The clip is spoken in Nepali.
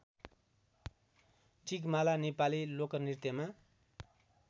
टिकमाला नेपाली लोकनृत्यमा